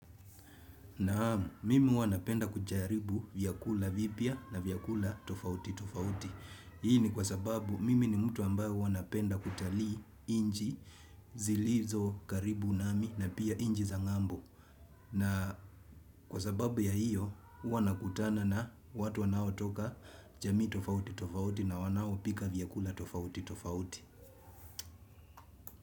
Naamu, mimi huwa napenda kujaribu vyakula vipya na vyakula tofauti tofauti. Hii ni kwa sababu mimi ni mtu ambayo huwa napenda kutalii nchi zilizo karibu nami na pia nchi za ngambo. Na kwa sababu ya hiyo, huwa nakutana na watu wanaotoka jamii tofauti tofauti na wanaopika vyakula tofauti tofauti.